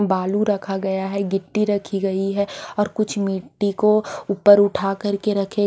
बालू रखा गया है गिट्टी रखी गई है और कुछ मिट्टी को ऊपर उठा करके रखे--